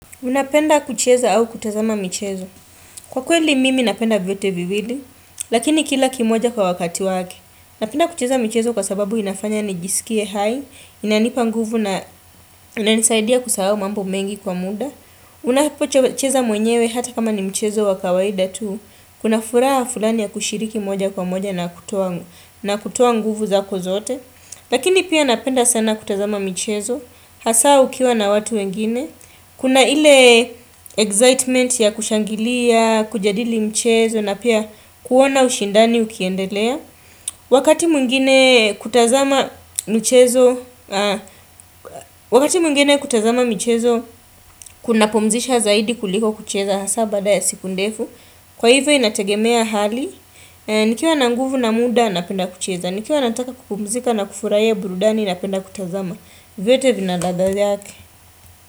Unapenda kucheza au kutazama mchezo. Kwa kweli mimi napenda vyote viwili, lakini kila kimoja kwa wakati wake. Napenda kucheza mchezo kwa sababu inafanya nijisikie hai, inanipa nguvu na inanisaidia kusahau mambo mengi kwa muda. Unapo chewe cheza mwenyewe hata kama ni mchezo wakawaida tu, kuna furaha fulani ya kushiriki moja kwa moja na kutoa, na kutoa nguvu zako zote. Lakini pia napenda sana kutazama mchezo, hasa ukiwa na watu wengine, kuna ile excitement ya kushangilia, kujadili mchezo, na pia kuona ushindani ukiendelea. Wakati mwingine Wakati mwingine kutazama mchezo, kunapumzisha zaidi kuliko kucheza hasa baada ya siku ndefu. Kwa hivyo inategemea hali, Nikiwa na nguvu na muda napenda kucheza, Nikiwa nataka kupumzika na kufurahia burudani napenda kutazama, vyote vina ladha yake.